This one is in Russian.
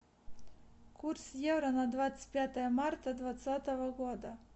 курс евро на двадцать пятое марта двадцатого года